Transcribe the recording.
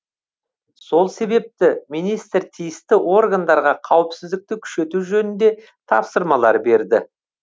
сол себепті министр тиісті органдарға қауіпсіздікті күшейту жөнінде тапсырмалар берді